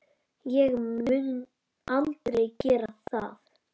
Ég mun aldrei gera það.